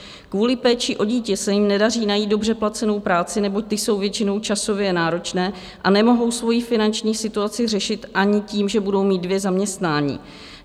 Kvůli péči o dítě se jim nedaří najít dobře placenou práci, neboť ty jsou většinou časové náročné, a nemohou svoji finanční situaci řešit ani tím, že budou mít dvě zaměstnání.